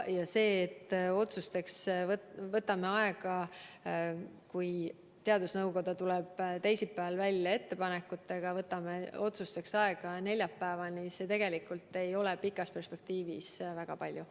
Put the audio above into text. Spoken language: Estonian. Ja see, et me võtame otsuste tegemiseks aega – see, kui teadusnõukoda tuleb ettepanekutega välja teisipäeval ja me võtame otsuste tegemiseks aega neljapäevani, ei ole tegelikult pikas perspektiivis väga palju.